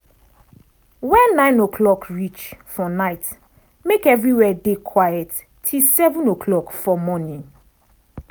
wen 9 o'clock reach for night make everywhere dey quiet till 7 o'clock for morning.